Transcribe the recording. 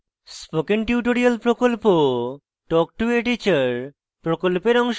spoken tutorial প্রকল্প talk to a teacher প্রকল্পের অংশবিশেষ